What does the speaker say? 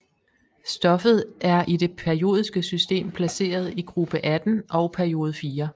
Stoffet er i det periodiske system placeret i gruppe 18 og periode 4